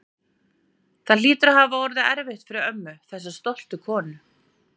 Það hlýtur að hafa verið erfitt fyrir ömmu, þessa stoltu konu.